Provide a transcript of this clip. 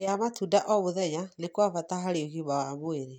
Kũrĩa matunda o mũthenya nĩ kwa bata harĩ ũgima wa mwĩrĩ.